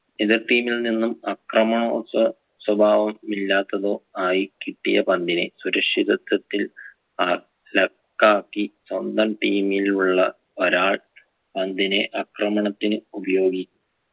എതിർ team ൽ നിന്നും അക്രമണോൽസ സ്വഭാവം ഇല്ലാത്തതോ ആയി കിട്ടിയ പന്തിനെ സുരക്ഷിതത്വത്തിൽ വള ല കാക്കി സ്വന്തം team ൽ ഉള്ള ഒരാൾ പന്തിനെ അക്രമണത്തിന് ഉപയോഗി